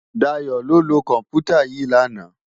Dayo ló lö kòmpútá yi làná